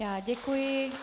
Já děkuji.